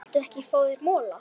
Viltu ekki fá þér mola?